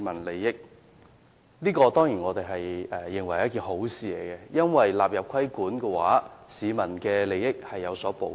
我們當然認為這是好事，因為納入規管後，市民的利益獲得保障。